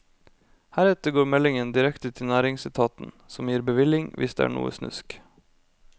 Heretter går meldingen direkte til næringsetaten som gir bevilling, hvis det er noe snusk.